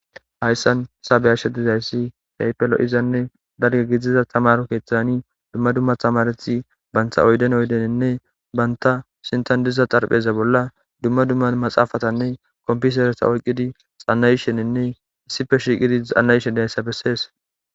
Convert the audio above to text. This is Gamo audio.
hayssan isabeyasha dizayssi haypelo izanne darge gidiza tamar keeththani dumma dumma thamarethi bantha oyden oydeninne banta sintan diza xarpheza bolla dumma dumma maxaafatanne kompisereta oyqqidi xana yisheninne issife shiiqidi xanna yishe diayssa bessees